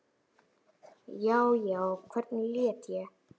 Já, já, hvernig læt ég!